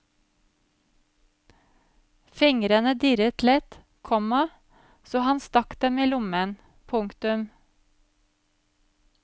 Fingrene dirret lett, komma så han stakk dem i lomma. punktum